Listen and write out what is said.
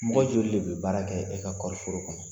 Mɔgɔ joli le bɛ baara kɛ e ka kɔɔri foro kɔnɔ?